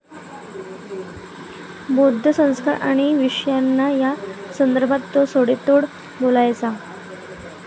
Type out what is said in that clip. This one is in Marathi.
बौद्ध संस्कार आणि विपश्यना या संदर्भात तो सडेतोड बोलायचा.